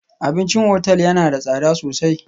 Abincin otal yana da tsada sosai